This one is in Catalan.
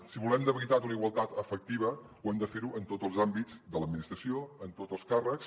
si volem de veritat una igualtat efectiva ho hem de fer en tots els àmbits de l’administració en tots els càrrecs